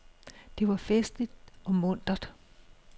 Det var festligt og muntert.